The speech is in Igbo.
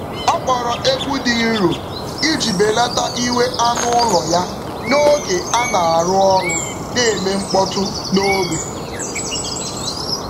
Ọ kpọọrọ egwu dị nro iji belata iwe anụ ụlọ ya n’oge a na-arụ ọrụ na-eme mkpọtụ n’ógbè.